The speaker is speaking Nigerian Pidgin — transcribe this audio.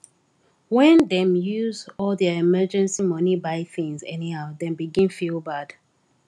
when dem use all their emergency money buy things anyhow dem begin feel bad